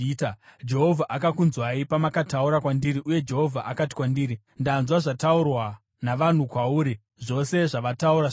Jehovha akakunzwai pamakataura kwandiri uye Jehovha akati kwandiri, “Ndanzwa zvataurwa navanhu kwauri. Zvose zvavataura zvakanaka.